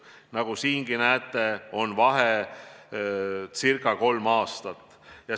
Nagu siingi näete, on vahe umbes kolm aastat.